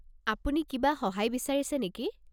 আপুনি কিবা সহায় বিচাৰিছে নেকি?